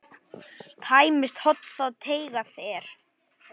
Tæmist horn þá teygað er.